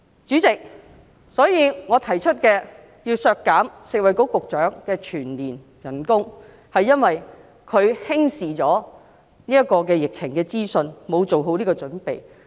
主席，我提出削減食物及衞生局局長的全年薪酬，是因為她輕視疫情資訊，沒有做好準備。